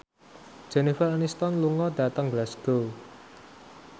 Jennifer Aniston lunga dhateng Glasgow